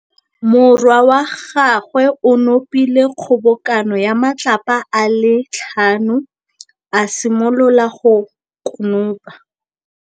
Morwa wa gagwe o nopile kgobokanô ya matlapa a le tlhano, a simolola go konopa.